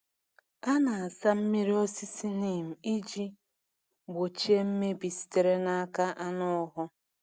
A na-asa mmiri osisi Neem iji gbochie mmebi sitere n’aka anụhụ.